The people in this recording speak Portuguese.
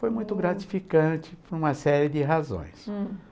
Foi muito gratificante por uma série de razões. Hm.